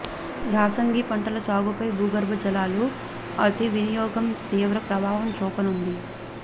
యాసంగి పంటల సాగుపై భూగర్భ జలాలు అతి వినియోగం తీవ్ర ప్రభావం చూపనుంది